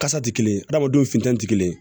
Kasa tɛ kelen adamadenw fintɛni ti kelen ye